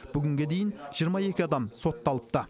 бүгінге дейін жиырма екі адам сотталыпты